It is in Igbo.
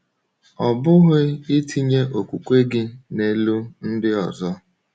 Ọ̀ bụghị itinye okwukwe gị n’elu ndị ọzọ?